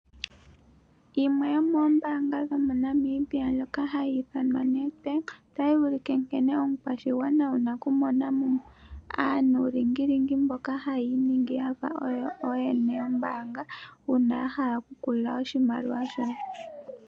Yimwe yomoombaanga dho moNamibia ndjono hayi ithanwa Nedbank, otayi ulike nkene omukwashigwana wuna oku mona mo aanuulingilingi mboka haya iningi yafa oyo ooyene yombaanga uuna ya hala oku ku lila oshimaliwa shoye.